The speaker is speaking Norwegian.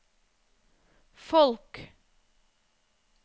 folk